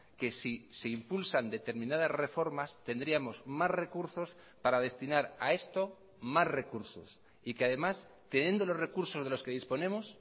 que si se impulsan determinadas reformas tendríamos más recursos para destinar a esto más recursos y que además teniendo los recursos de los que disponemos